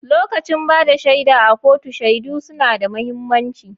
Lokacin ba da shaida a kotu, shaidu suna da mahimmanci.